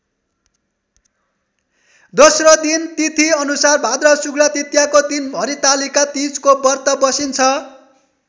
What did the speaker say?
दोस्रो दिन तिथिअनुसार भाद्र शुक्ल तृतीयाको दिन हरितालिका तीजको व्रत बसिन्छ।